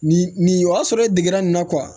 Nin nin y'a sɔrɔ e degera nin na